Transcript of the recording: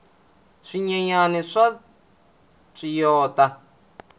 swinyenyani swa tswiyota